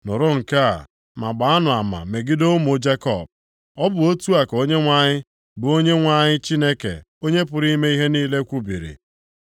“Nụrụ nke a, ma gbaanụ ama megide ụmụ Jekọb,” ọ bụ otu a ka Onyenwe anyị, bụ Onyenwe anyị Chineke Onye pụrụ ime ihe niile, kwubiri.